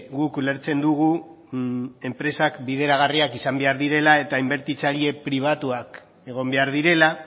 guk ulertzen dugu enpresak bideragarriak izan behar direla eta inbertitzean pribatuak egon behar direla